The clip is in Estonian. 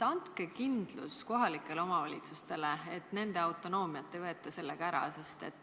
Andke kindlus kohalikele omavalitsustele, et nende autonoomiat ei võeta sellega ära.